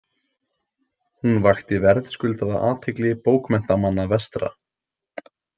Hún vakti verðskuldaða athygli bókmenntamanna vestra.